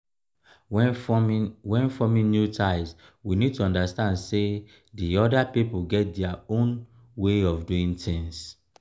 when forming when forming new ties we need to understand sey di oda pipo get their own way of doing things